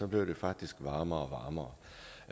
blev det faktisk varmere